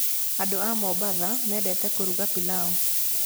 Andũ a Mombasa mendete kũruga pilaũ.